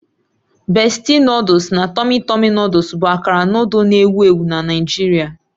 Bestie noodles na Tummy tummy noodles bụ akara noodle na-ewu ewu na Nigeria